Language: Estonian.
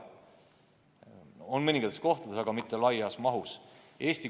On mõnes kohas, aga mitte laialt kasutusel.